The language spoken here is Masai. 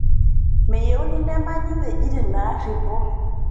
Meyieuni nemanyi wuejitin naarripo